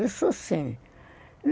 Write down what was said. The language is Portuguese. Isso sim.